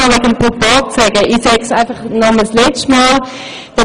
Ich möchte nun noch etwas zum Proporz sagen: